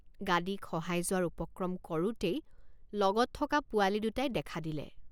গাদী খহাই যোৱাৰ উপক্ৰম কৰোঁতেই লগত থকা পোৱালি দুটাই দেখা দিলে।